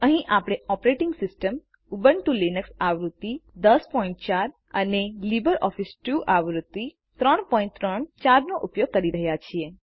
અહીં આપણે operating system Ubuntu Linux આવૃત્તિ 1004 અને લીબરઓફીસ સ્યુટ આવૃત્તિ 334નો ઉપયોગ કરી રહ્યા છીએ